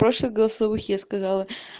прошлых голосовых я сказала